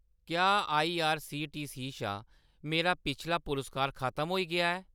क्या आईआरसीटीसी शा मेरा पिछला पुरस्कार खतम होई गेआ ऐ ?